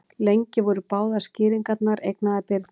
Lengi voru báðar skýringarnar eignaðar Birni.